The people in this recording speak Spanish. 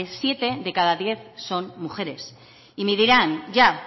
siete de cada diez son mujeres y me dirán ya